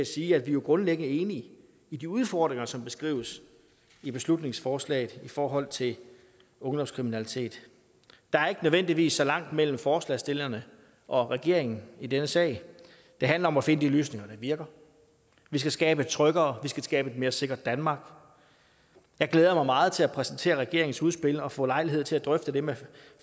sige at vi jo grundlæggende er enige i de udfordringer som beskrives i beslutningsforslaget i forhold til ungdomskriminalitet der er ikke nødvendigvis så langt mellem forslagsstillerne og regeringen i denne sag det handler om at finde de løsninger der virker vi skal skabe et tryggere vi skal skabe et mere sikkert danmark jeg glæder mig meget til at præsentere regeringens udspil og få lejlighed til at drøfte det med